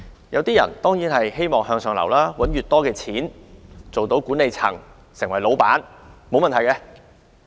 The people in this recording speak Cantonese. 有些人希望向上流，賺取很多的金錢，成為管理層或老闆，這是沒有問題的。